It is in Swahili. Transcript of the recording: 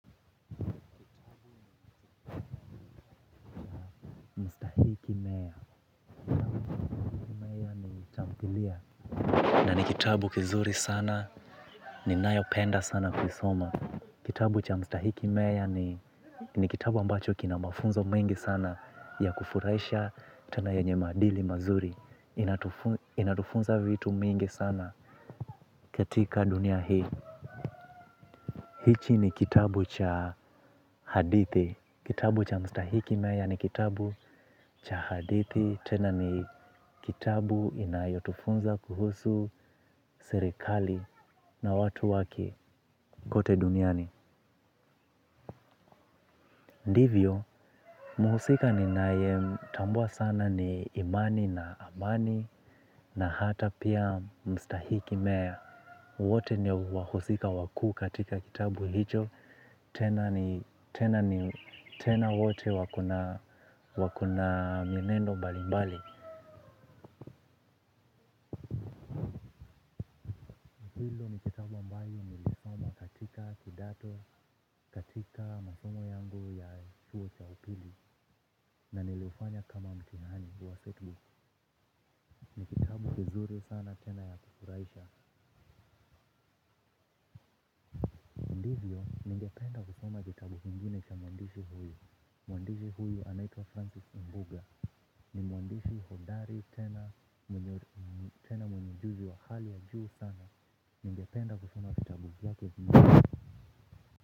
Na ni kitabu kizuri sana, ninayopenda sana kuisoma. Kitabu cha mstahiki meya ni kitabu ambacho kina mafunzo mengi sana ya kufuraisha tena yenye maadili mazuri. Inatufunza vitu mingi sana katika dunia hii. Hichi ni kitabu cha hadithi. Kitabu cha mstahiki mea ni kitabu cha hadithi. Tena ni kitabu inayotufunza kuhusu serikali na watu wake kote duniani. Ndivyo, muhusika ninae, tambua sana ni imani na amani na hata pia mstahiki meya. Wote ni wahusika wakuu katika kitabu hicho. Tena ni, tena ni, tena wote wakona, wakona mienendo mbalimbali. Kidato katika masomo yangu ya chuo cha upili na niliufanya kama mtihani wa setbook ni kitabu kizuri sana tena ya kifuraisha. Ndivyo ningependa kusoma kitabu kingine cha muandisi huyo. Muandisi huyo anaitwa Francis Mbuga ni muandisi hodari tena mwenye ujuzi wa hali ya juu sana ningependa kusoma vitabu vyake.